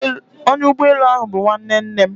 Onya ugboelu ahu bu nwanne nne m